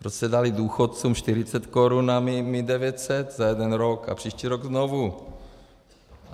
Proč jste dali důchodcům 40 korun a my 900 za jeden rok a příští rok znovu?